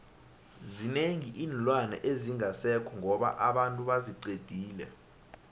zinengi iinlwana ezingasekho ngoba abantu baziqedile